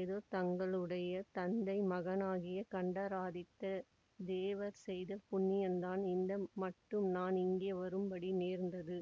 ஏதோ தங்களுடைய தந்தை மகானாகிய கண்டராதித்த தேவர் செய்த புண்ணியந்தான் இந்த மட்டும் நான் இங்கே வரும்படி நேர்ந்தது